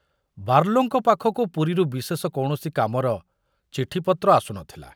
ବାର୍ଲୋଙ୍କ ପାଖକୁ ପୁରୀରୁ ବିଶେଷ କୌଣସି କାମର ଚିଠିପତ୍ର ଆସୁ ନ ଥିଲା।